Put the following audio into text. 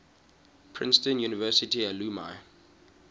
princeton university alumni